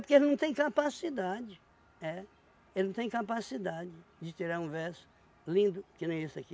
Porque ele não tem capacidade, é, ele não tem capacidade de tirar um verso lindo que nem esse aqui.